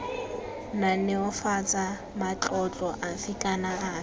naneofatsa matlotlo afe kana afe